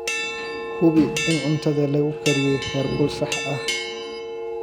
Hubi in cuntada lagu kariyey heerkul sax ah.